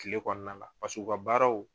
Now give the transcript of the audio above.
Kile kɔnɔna la paseke u ka baaraw